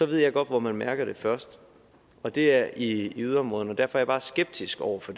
ved jeg godt hvor man mærker det først og det er i yderområderne derfor er jeg bare skeptisk over for